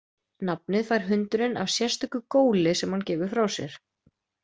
Nafnið fær hundurinn af sérstöku góli sem hann gefur frá sér.